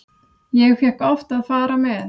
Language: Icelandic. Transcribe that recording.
Ég fékk oft að fara með.